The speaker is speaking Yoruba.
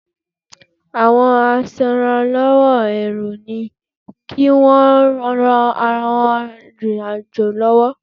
Àwọn aṣèràlọ́wọ́ èrò ni kí wọ́n ran àwọn arìnrìn-àjò lọ́wọ́.